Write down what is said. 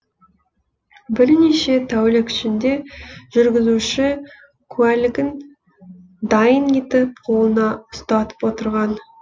бірнеше тәулік ішінде жүргізуші куәлігін дайын етіп қолына ұстатып отырған